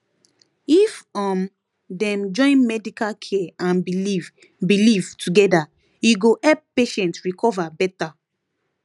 if um dem join medical care and belief belief together e go help patient recover better